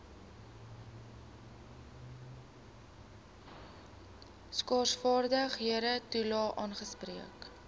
skaarsvaardighede toelae aangespreek